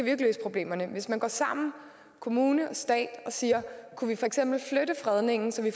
jo ikke løse problemerne hvis man går sammen kommune og stat og siger kunne vi for eksempel flytte fredningen så vi